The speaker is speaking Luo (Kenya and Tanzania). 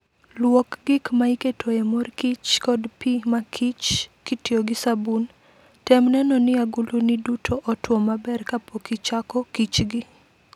Luok gik ma iketoe mor kich kod pi makichr kitiyo gi sabun. Tem neno ni agulini duto otwo maber kapok ichako pkichgi.